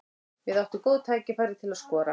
Við áttum góð tækifæri til að skora.